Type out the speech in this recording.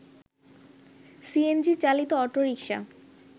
CNG চালিত autorickshaw